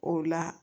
O la